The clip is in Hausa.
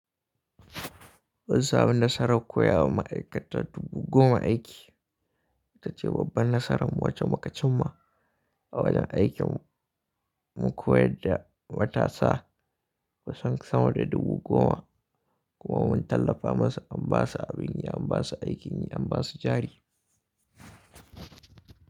Munsamu nasarar koya wa ma'aikata dubu goma aiki ita ce babban nasarar wacce muka cimma a wajen aikin mu koyar da matasa kusan sama da dubu goma kuma mun tallafa musu an ba su abin yi, an ba su aikin yi, an ba su jari.